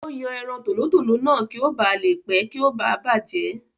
Ó yan ẹran tòlótòló náà kí o ba à le pẹ̀ kí o ba à bàjẹ́